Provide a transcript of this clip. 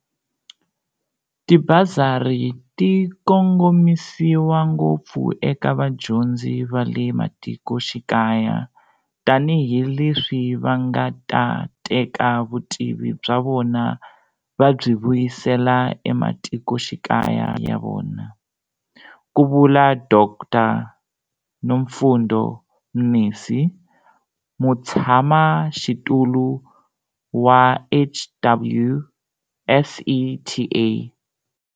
Tibasari ti kongomisiwa ngopfu eka vadyondzi va le matikoxikaya tanihileswi va nga ta teka vutivi bya vona va byi vuyisela ematikoxikaya ya vona, ku vula Dr Nomfundo Mnisi, Mutshamaxitulu wa HWSETA.